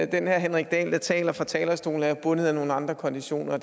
den herre henrik dahl der taler fra talerstolen er jo bundet af nogle andre konditioner